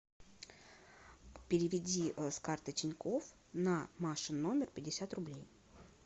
переведи с карты тинькофф на машин номер пятьдесят рублей